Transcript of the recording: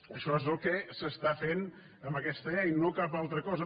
això és el que s’està fent amb aquesta llei no cap altra cosa